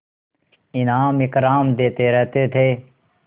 इनाम इकराम देते रहते थे